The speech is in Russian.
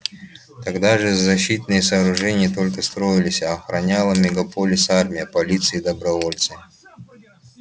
тогда же защитные сооружения только строились а охраняла мегаполис армия полиция и добровольцы